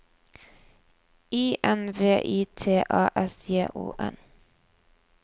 I N V I T A S J O N